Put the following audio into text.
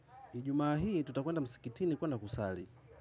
Ijuma hii tutakwenda msikitini kwenda kusali.